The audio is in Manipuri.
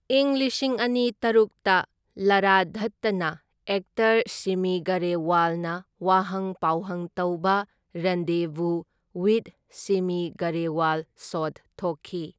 ꯏꯪ ꯂꯤꯁꯤꯡ ꯑꯅꯤ ꯇꯔꯨꯛꯇ ꯂꯥꯔꯥ ꯗꯠꯇꯥꯅ ꯑꯦꯛꯇꯔ ꯁꯤꯃꯤ ꯒꯔꯦꯋꯥꯜꯅ ꯋꯥꯍꯪ ꯄꯥꯎꯍꯪ ꯇꯧꯕ ꯔꯟꯗꯦꯚꯨ ꯋꯤꯊ ꯁꯤꯃꯤ ꯒꯔꯦꯋꯥꯜ ꯁꯣꯗ ꯊꯣꯛꯈꯤ꯫